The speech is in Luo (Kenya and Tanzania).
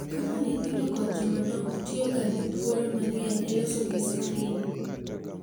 Kaka nyithindo kod jomadongo tiyoga gi thuolo mang’eny e loso gi skrini—